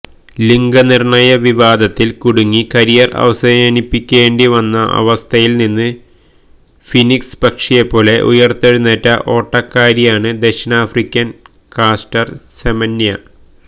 ലിംഗനിർണയവിവാദത്തിൽ കുടുങ്ങി കരിയർ അവസാനിപ്പിക്കേണ്ടി വന്ന അവസ്ഥയിൽ നിന്ന് ഫീനിക്സ് പക്ഷിയെപ്പോലെ ഉയിർത്തെഴുന്നേറ്റ ഓട്ടക്കാരിയാണ് ദക്ഷിണാഫ്രിക്കയുടെ കാസ്റ്റർ സെമന്യ